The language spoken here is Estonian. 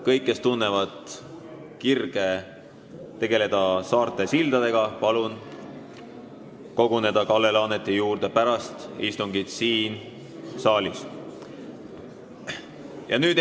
Kõigil, kes tunnevad kirge saarte sildadega tegelemise vastu, palun pärast istungit koguneda siin saalis Kalle Laaneti juurde.